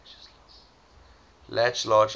latch large iron